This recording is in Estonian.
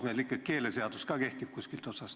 Meil ikkagi keeleseadus ka kehtib kuskilt otsast.